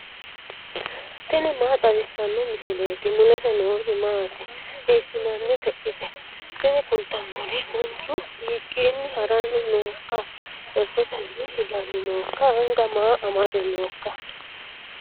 tini maa xawissanno misileeti ? mulese noori maati ? hiissinannite ise ? tini kultannori manchu hiikkiinni haranni nooikka cherchetenni higanni nooikka anga maa amade nooikka